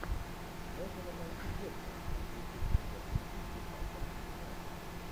можно нам найти дерби английской премьер лиги ньюкасл и юнайтед